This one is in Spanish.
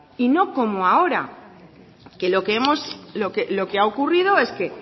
y no como ahora que lo que hemos lo que ha ocurrido es que